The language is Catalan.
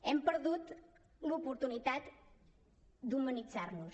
hem perdut l’oportunitat d’humanitzar nos